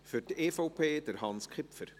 Für die EVP, Hans Kipfer.